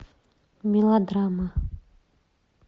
мелодрама